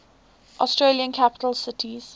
australian capital cities